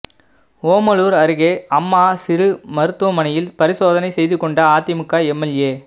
ஓமலூர் அருகே அம்மா சிறு மருத்துவமனையில் பரிசோதனை செய்து கொண்ட அதிமுக எம்எல்ஏ